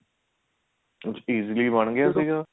easily ਬਣ ਗਿਆ ਸੀਗਾ